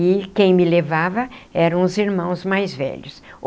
E quem me levava eram os irmãos mais velhos.